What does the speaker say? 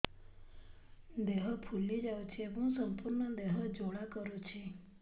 ଦେହ ଫୁଲି ଯାଉଛି ଏବଂ ସମ୍ପୂର୍ଣ୍ଣ ଦେହ ଜ୍ୱାଳା କରୁଛି